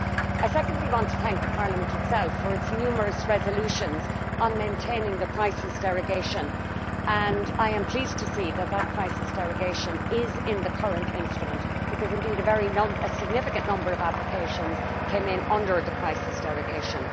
I secondly want to thank Parliament itself for its numerous resolutions on maintaining the crisis derogation, and I am pleased to see that the crisis derogation is in the current instrument because a very significant number of applications came in under the crisis derogation.